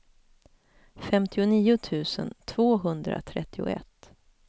femtionio tusen tvåhundratrettioett